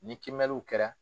Ni kimɛliw kɛra